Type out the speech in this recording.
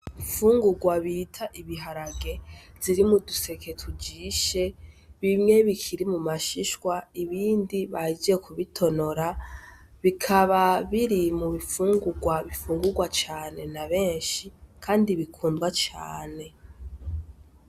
Imfungugwa bita ibiharage ziri muduseke tujishe ,bimwe bikiri mu mashishwa ibindi bahejeje kubitonora, bikaba biri mubi fungugwa bifungugwa cane nabenshi kandi bikundwa cane.